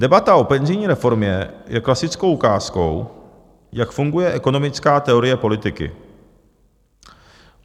Debata o penzijní reformě je klasickou ukázkou, jak funguje ekonomická teorie politiky .